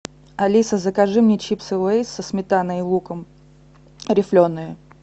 алиса закажи мне чипсы лейс со сметаной и луком рифленые